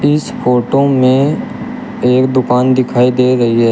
इस फोटो में एक दुकान दिखाई दे रही है।